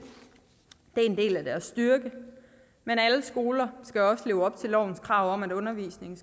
og en del af deres styrke men alle skoler skal også leve op til lovens krav om at undervisningen